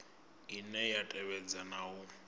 ine ya tevhedza na u